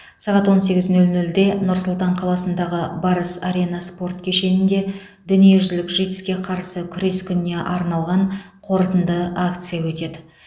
сағат он сегіз нөл нөлде нұр сұлтан қаласындағы барыс арена спорт кешенінде дүниежүзілік житс ке қарсы күрес күніне арналған қорытынды акция өтеді